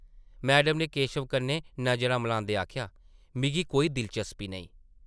Madam नै केशव कन्नै नजरां मलांदे आखेआ , ‘‘मिगी कोई दिलचस्पी नेईं ।’’